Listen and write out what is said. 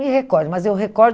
me recordo, mas eu recordo